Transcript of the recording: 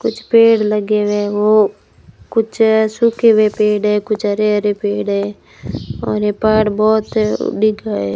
कुछ पेड़ लगे हुए है वो कुछ सूखे हुए पेड़ हैं कुछ हरे-हरे पेड़ हैं और ये पहाड़ बहुत दिख रहा है।